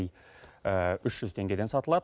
үш жүз теңгеден сатылады